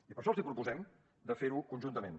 i per això els proposem de fer ho conjuntament